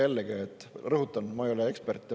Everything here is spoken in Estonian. Jällegi rõhutan, et ma ei ole ekspert.